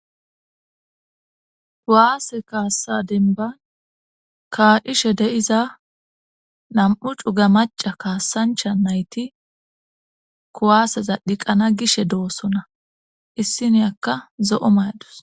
kuwaase kaassa denban kaa7ishe de7iza nam7u cuga maca kaassancha nayti kuwaaseza dhiqana gishe doosona issiniyakka zo7o mayadus